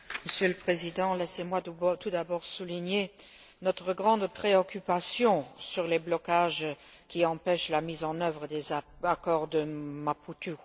Monsieur le Président, laissez moi tout d'abord souligner notre grande préoccupation au sujet des blocages qui empêchent la mise en œuvre des accords de Maputo.